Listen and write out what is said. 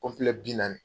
bi naani